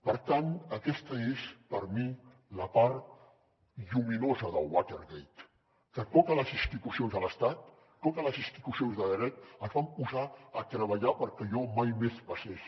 per tant aquesta és per mi la part lluminosa del watergate que totes les institucions de l’estat totes les institucions de dret es van posar a treballar perquè allò mai més passés